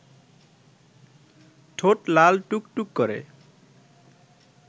ঠোঁট লাল টুকটুক করে